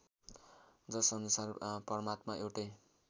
जसअनुसार परमात्मा एउटै